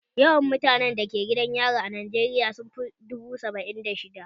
Yawan mutanen da ke gidan yari a Najeriya sun fi dubu saba'in da shidda